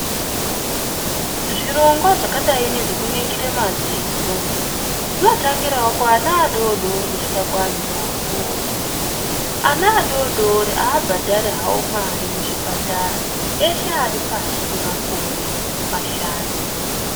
Zvirongwa zvakadai nezvekuningire madziso zvinotangirawo kuana adodori kusvika kuantu akuru. Ana adodori abhadhari hawo mari muzvipatara. Eshe ari pashi pemakore mashanu.